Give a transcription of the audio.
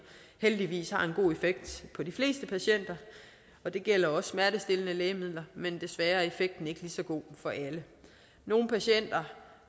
heldigvis har en god effekt på de fleste patienter og det gælder også smertestillende lægemidler men desværre er effekten ikke lige så god for alle nogle patienter